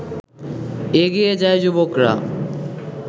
এগিয়ে যায় যুবকরা